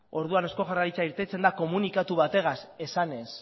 orduan eusko jaurlaritza irtetzen da komunikatu bategaz esanez